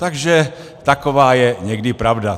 Takže taková je někdy pravda.